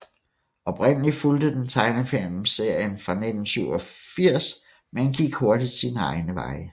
Oprindelig fulgte den tegnefilmserien fra 1987 men gik hurtigt sine egne veje